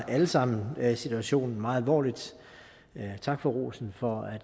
alle sammen tager situation meget alvorligt tak for rosen for